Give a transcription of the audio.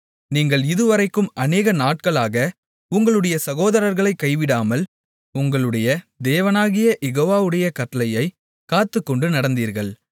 நீங்கள் இதுவரைக்கும் அநேக நாட்களாக உங்களுடைய சகோதரர்களைக் கைவிடாமல் உங்களுடைய தேவனாகிய யெகோவாவுடைய கட்டளையைக் காத்துக்கொண்டு நடந்தீர்கள்